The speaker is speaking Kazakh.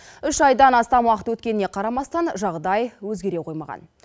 үш айдан астам уақыт өткеніне қарамастан жағдай өзгере қоймаған